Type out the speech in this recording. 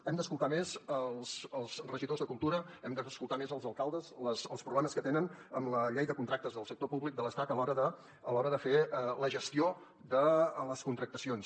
hem d’escoltar més els regidors de cultura hem d’escoltar més els alcaldes els problemes que tenen amb la llei de contractes del sector públic de l’estat a l’hora de fer la gestió de les contractacions